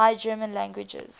high german languages